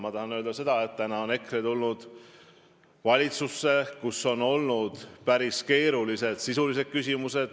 Ma tahan veel öelda, et EKRE on tulnud valitsusse, kus on lahendada olnud päris keerulised sisulised küsimused.